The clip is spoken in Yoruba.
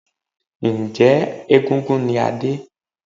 Njẹ́ egúngún ni Adé?